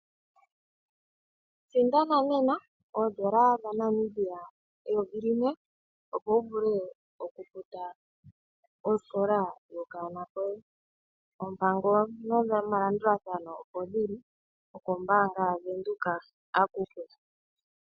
Sindana nena oondola dhaNamibia eyovi limwe opo wuvule okufuta osikola yokanona koye. Oompango nomalandulathano opo dhili okombaanga yaVenduka akuke.